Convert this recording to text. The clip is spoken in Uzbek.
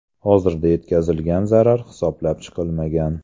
Hozircha yetkazilgan zarar hisoblab chiqilmagan.